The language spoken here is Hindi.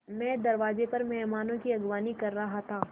मैं दरवाज़े पर मेहमानों की अगवानी कर रहा था